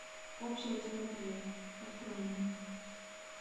общая терапия открой мне